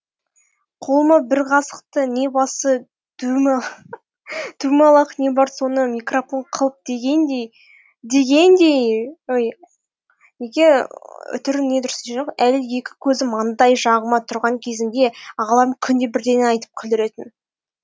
қолыма бір қасықты не басы дөмалақ не бар соны микрафон қылып дегендееей әлі екі көзім маңдай жағымда тұрған кезімде ағаларым күнде бірдеңе айтып күлдіретін